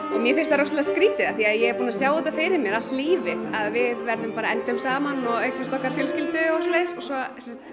mér finnst það ofboðslega skrítið af því að ég er búin að sjá þetta fyrir mér allt lífið að við bara endum saman og eignumst okkar fjölskyldu og svo